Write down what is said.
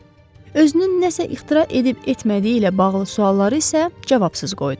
Özünün nəsə ixtira edib etmədiyi ilə bağlı sualları isə cavabsız qoydu.